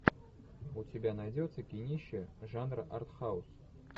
у тебя найдется кинище жанра артхаус